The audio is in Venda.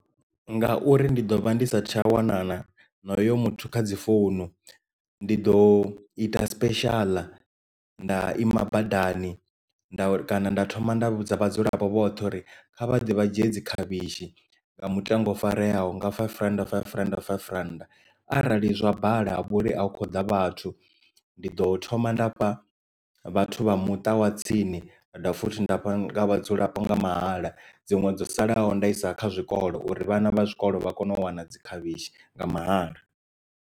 Ngauri ndi ḓo vha ndi sa tsha wana na hoyo muthu kha dzi founu ndi ḓo ita special nda ima badani nda kana nda thoma nda vhudza vhadzulapo vhoṱhe uri kha vha ḓe vha dzhie dzi khavhishi nga mutengo u farelwaho nga five rand, five rand, five rand arali zwa bala havho nori a hu kho ḓa vhathu ndi ḓo thoma ndafha vhathu vha muṱa wa tsini nda dovha futhi nda fha vhadzulapo nga mahala dziṅwe dzo salaho nda isa kha zwikolo uri vhana vha tshikolo vha kone u wana dzi khavhishi nga mahala.